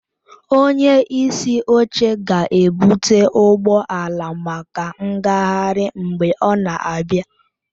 Onye isi oche ga-ebụte ụgbọ ala maka ngagharị mgbe ọ na-abịa